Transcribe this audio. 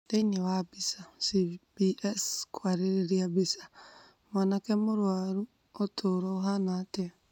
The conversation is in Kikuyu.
Thĩini wa mbica ,CBS kwarĩrĩria mbica, mwanake mũrũarũ ũturo ũhana atia.